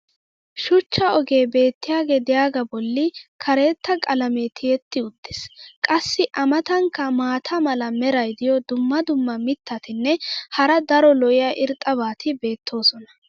shuchcha ogee beetiyaagee diyaagaa boli karetta qalamee tiyetti uttiis. qassi a matankka maata mala meray diyo dumma dumma mitatinne hara daro lo'iya irxxabati beetoosona.